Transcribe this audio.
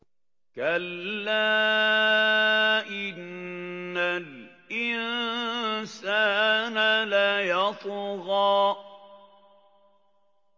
كَلَّا إِنَّ الْإِنسَانَ لَيَطْغَىٰ